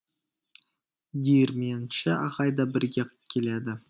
диірменші ағай да бірге келеді